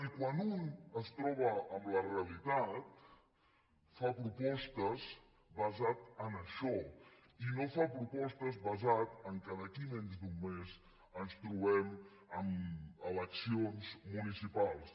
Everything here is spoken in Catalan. i quan un es troba amb la realitat fa propostes basades en això i no fa propostes basades en el fet que d’aquí a menys d’un mes ens trobem amb eleccions municipals